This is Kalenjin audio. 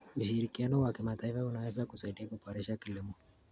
Ushirikiano wa kimataifa unaweza kusaidia kuboresha kilimo.